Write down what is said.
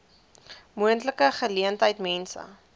moontlike geleentheid mense